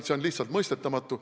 See on lihtsalt mõistetamatu.